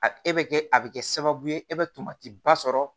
A e bɛ kɛ a bɛ kɛ sababu ye e bɛ tomatiba sɔrɔ